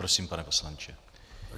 Prosím, pane poslanče.